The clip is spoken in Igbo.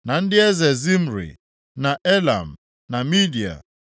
na ndị eze Zimri, na Elam, na Midia;